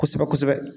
Kosɛbɛ kosɛbɛ